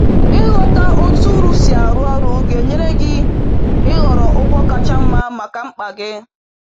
“Ịghọta otú uru si arụ ọrụ ga-enyere gị ịhọrọ ụgwọ kacha mma maka mkpa g